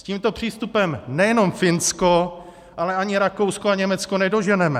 S tímto přístupem nejenom Finsko, ale ani Rakousko a Německo nedoženeme.